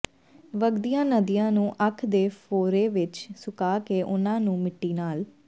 ਵਗਦੀਆਂ ਨਦੀਆਂ ਨੂੰ ਅੱਖ ਦੇ ਫੋਰੇ ਵਿੱਚ ਸੁਕਾ ਕੇ ਉਨ੍ਹਾਂ ਨੂੰ ਮਿੱਟੀ ਨਾਲ